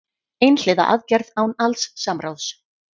Einhliða aðgerð án alls samráðs